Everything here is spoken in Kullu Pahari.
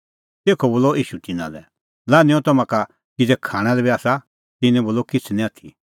तेखअ बोलअ ईशू तिन्नां लै लान्हैंओ तम्हां का किज़ै खाणां लै बी आसा तिन्नैं बोलअ किछ़ निं आथी